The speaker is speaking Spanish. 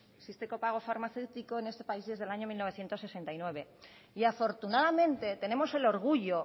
existe copago farmacéutico en este país desde el año mil novecientos sesenta y nueve y afortunadamente tenemos el orgullo